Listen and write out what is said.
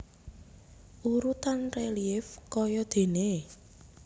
Urutan relief kayadéné